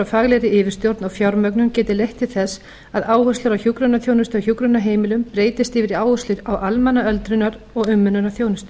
faglegri yfirstjórn og fjármögnun geti leitt til þess að áherslur á hjúkrunarþjónustu á hjúkrunarheimilum breytist yfir í áherslur á almenna öldrunar og umönnunarþjónustu